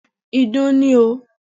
Ìdun ni o.